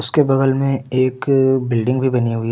उसके बगल में एक बिल्डिंग भी बनी हुई है।